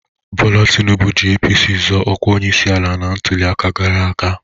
Bọla Tinubu ji APC zọọ ọkwa onyeisi ala na ntụliaka gara aga.